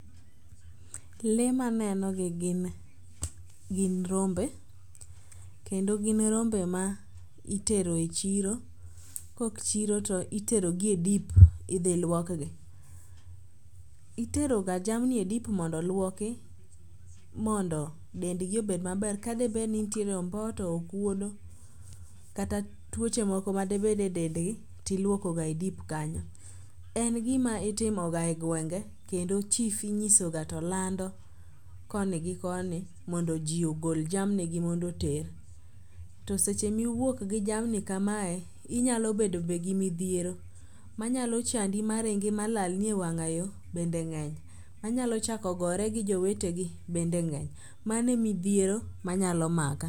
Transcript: Lee manenogi gin rombe ,kendo gin rombe ma itero e chiro, kok chiro to iterogi e dip idhi lwokgi. Iteroga jamni e dip mondo olwoki, mondo dendgi obed maber, ka debedni nitiere omboto, okwodo kata tuoche moko madebed e dendgi tiluokoga e dip kanyo. En gima itimoga e gwenge kendo chief inyisoga to lando koni gi koni mondo ji ogol jamnigi mondo oter. To seche miwuok gi jamni kamae, inyalo bedo be gi midhiero manyalo chandi maringi ma lalni e wang'ayo, bende ng'eny. Ma nyalo chako gore gi jowetegi bende ng'eny. Mano e midhiero manyalo maka.